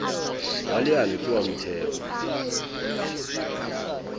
wa leano ke wa motheo